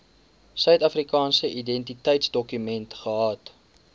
suidafrikaanse identiteitsdokument gehad